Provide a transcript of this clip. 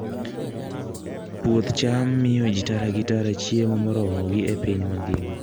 Puoth cham miyo ji tara gi tara chiemo moromogi e piny mangima.